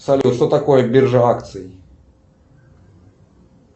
салют что такое биржа акций